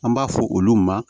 An b'a fɔ olu ma